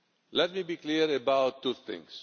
Let me be clear about two things.